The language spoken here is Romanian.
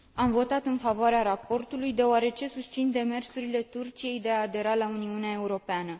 Am votat în favoarea raportului deoarece susțin demersurile Turciei de a adera la Uniunea Europeană.